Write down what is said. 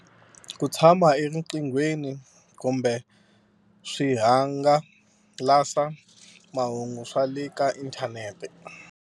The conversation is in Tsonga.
Ku tshama a ri eriqinghweni kumbe swihanga lasa mahungu swa le ka inthanete.